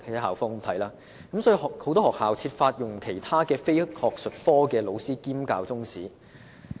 因此，很多學校均設法安排其他非術科老師兼教中史。